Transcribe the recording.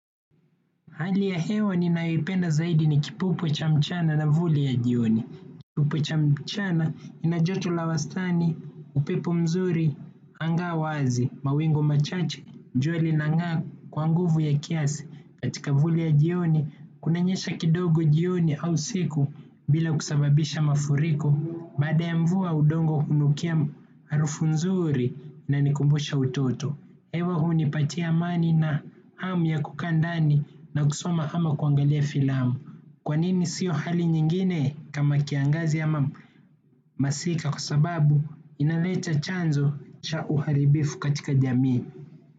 Hali ya hewa ninayoipenda zaidi ni kipupo cha mchana na vuli ya jioni. Kipupo cha mchana inajoto la wastani, upepo mzuri, hanga wazi, mawingu machache, jua lina ng'aa kwa nguvu ya kiasi katika vuli ya jioni, kunanyesha kidogo jioni au usiku bila kusababisha mafuriko, baada ya mvua udongo unukia arufu mzuri inanikumbusha utoto. Hewa unipatia amani na hamu ya kukaa ndani na kusoma ama kuangalia filamu. Kwanini siyo hali nyingine kama kiangazi ama masika kwa sababu inaleta chanzo cha uharibifu katika jamii.